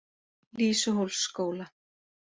Lýsuhólsskóla